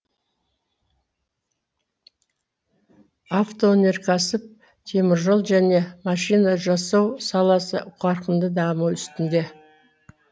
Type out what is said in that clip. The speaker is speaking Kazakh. автоөнеркәсіп теміржол және машина жасау саласы қарқынды даму үстінде